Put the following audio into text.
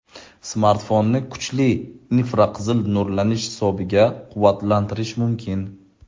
Smartfonni kuchli infraqizil nurlanish hisobiga quvvatlantirish mumkin.